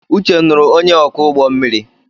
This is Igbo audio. Uche nuru onye oku ugbommiri